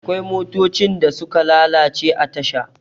akwai motocin da suka lalace a tasha